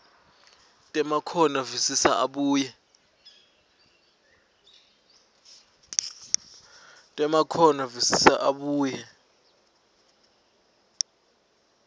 temakhono visisa abuye